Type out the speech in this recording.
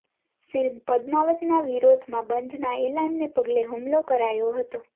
film પદ્માવતના વિરોધમાં બંધના એલાનને પગલે હુમલો કરાયો હતો